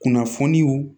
Kunnafoniw